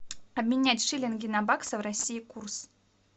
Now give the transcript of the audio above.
обменять шиллинги на баксы в россии курс